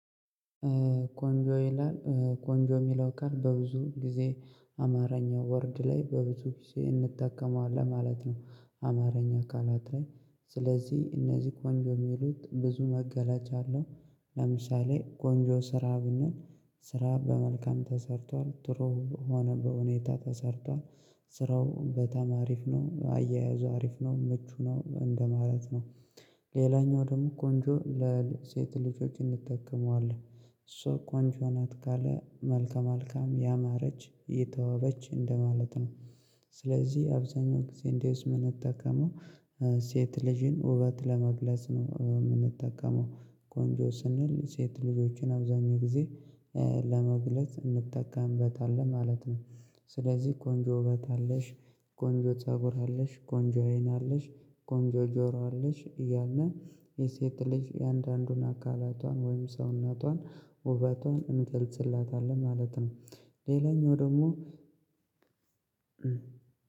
ቆንጆ ይላል። ቆንጆ የሚለው ቃል በብዙ ጊዜ አማርኛ ወርድ ላይ በብዙ ጊዜ እንጠቀመዋለን ማለት ነው አማርኛ ቃላት ላይ። ስለዚህ እነዚህ ቆንጆ የሚሉት ብዙ መገለጫ አለው። ለምሳሌ ቆንጆ ስራ ብንል ስራ በመልካም ተሰርቷል ጥሩ ሆነ በሁኔታ ተሰርቷል ስራው በጣም አሪፍ ነው አያያዙ አሪፍ ነው ምቹ ነው እንደማለት ነው። ሌላኛው ደግሞ ቆንጆ ለሴት ልጆች እንጠቀመዋለን። እሷ ቆንጆ ናት ካለ መልከ መልካም፣ ያማረች፣ የተዋበች እንደማለት ነው። ስለዚህ አብዛኛው ጊዜ እንደዚህ የምንጠቀመው ሴት ልጅን ውበት ለመግለጽ ነው የምንጠቀመው። ቆንጆ ስንል ሴት ልጆችን አብዛኛው ጊዜ ለመግለጽ እንጠቀምበታለን ማለት ነው። ስለዚህ ቆንጆ ውበት አለሽ፤ ቆንጆ ፀጉር አለሽ፤ ቆንጆ አይን አለሽ፤ ቆንጆ ጆሮ አለሽ እያልን የሴት ልጅ እያንዳንዱን አካላቷን ወይም ሰውነቷን ውበቷን እንገልጽላታለን ማለት ነው። ሌላኛው ደግሞ